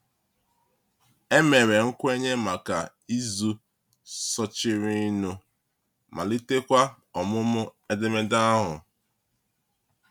E mere nkwenye maka izu sochirinụ, malitekwa ọmụmụ edemede ahụ.